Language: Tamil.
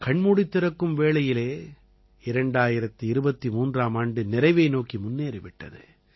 கண்மூடித் திறக்கும் வேளையிலே 2023ஆம் ஆண்டு நிறைவை நோக்கி முன்னேறி விட்டது